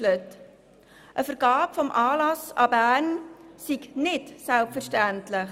Eine Vergabe des Anlasses an Bern sei nicht selbstverständlich.